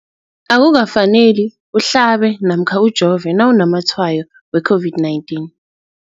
Akuka faneli uhlabe namkha ujove nawu namatshayo we-COVID-19 .